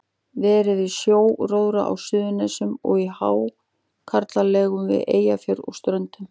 Verið við sjóróðra á Suðurnesjum og í hákarlalegum við Eyjafjörð og á Ströndum.